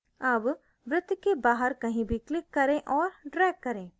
अब वृत्त के बाहर कहीं भी click करें और drag करें